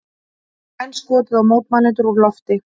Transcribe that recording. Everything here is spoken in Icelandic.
Enn skotið á mótmælendur úr lofti